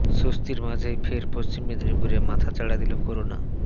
স্বস্তির মাঝেই ফের পশ্চিম মেদিনীপুরে মাথা চাড়া দিল করোনা